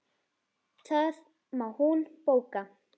Það má hún bóka.